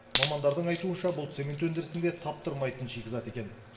мамандардың айтуынша бұл цемент өндірісінде таптырмайтын шикізат екен